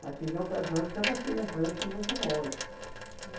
Mas tinha ocasiões que elas tinham preço muito bons.